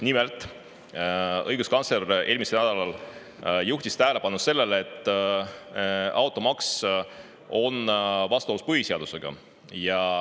Nimelt, õiguskantsler juhtis eelmisel nädalal tähelepanu sellele, et automaks on vastuolus põhiseadusega.